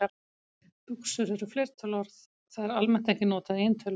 Buxur er fleirtöluorð, það er almennt ekki notað í eintölu.